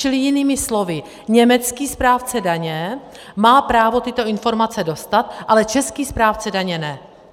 Čili jinými slovy německý správce daně má právo tyto informace dostat, ale český správce daně ne.